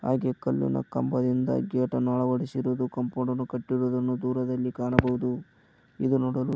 ಹಾಗೆ ಕಲ್ಲಿನ ಕಂಬದಿಂದ ಗೇಟನ್ನು ಅಳವಡಿಸಿರುವುದು ಕಂಪೌಂಡನ್ನು ಕಟ್ಟಿರುವುದನ್ನು ದೂರದಲ್ಲಿ ಕಾಣಬಹುದು ಇದು ನೋಡಲು--